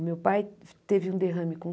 O meu pai teve um derrame com